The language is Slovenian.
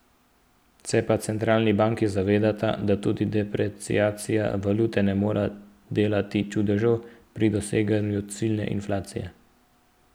Se pa centralni banki zavedata, da tudi depreciacija valute ne more delati čudežev pri doseganju ciljne inflacije.